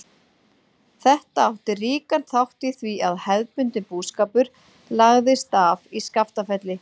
Þetta átti ríkan þátt í því að hefðbundinn búskapur lagðist af í Skaftafelli.